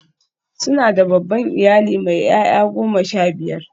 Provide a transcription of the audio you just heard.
Suna da babban iyali mai 'ya'ya goma sha biyar.